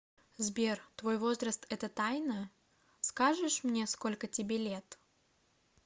сбер твой возраст это тайна скажешь мне сколько тебе лет